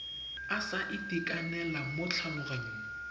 a sa itekanela mo tlhaloganyong